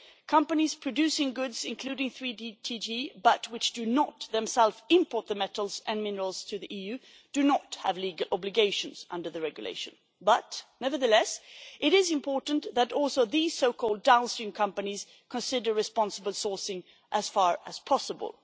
Companies producing goods, including tin, tantalum, tungsten and gold, but which do not themselves import the metals and minerals to the EU, do not have legal obligations under the regulation. Nevertheless, it is important that also these so called downstream companies consider responsible sourcing as far as possible.